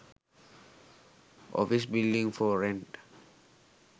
office building for rent